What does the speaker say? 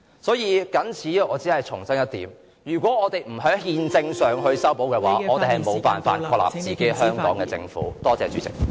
所以，我謹此只重申一點，如果我們不在憲政上......作出修補的話，我們便無法確立香港自己的政府。